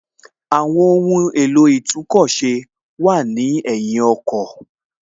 Àwọn ohùn èlò itúnkọ̀ ṣe wà lẹ́yìn ọkọ̀